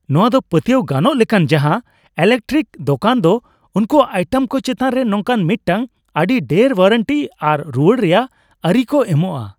ᱱᱚᱶᱟ ᱫᱚ ᱯᱟᱹᱛᱭᱟᱹᱣ ᱜᱟᱱᱚᱜ ᱞᱮᱠᱟᱱ ᱡᱟᱦᱟᱸ ᱤᱞᱮᱠᱴᱨᱮᱠ ᱫᱳᱠᱟᱱ ᱫᱚ ᱩᱱᱠᱩᱭᱟᱜ ᱟᱭᱴᱮᱢ ᱠᱚ ᱪᱮᱛᱟᱱ ᱨᱮ ᱱᱚᱝᱠᱟᱱ ᱢᱤᱫᱴᱟᱝ ᱟᱹᱰᱤ ᱰᱷᱮᱨ ᱳᱣᱟᱨᱮᱱᱴᱤ ᱟᱨ ᱨᱩᱣᱟᱹᱲ ᱨᱮᱭᱟᱜ ᱟᱹᱨᱤ ᱠᱚ ᱮᱢᱚᱜᱼᱟ ᱾